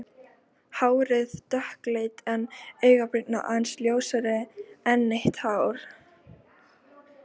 Hárið dökkleitt en augabrýrnar aðeins ljósari, ennið hátt.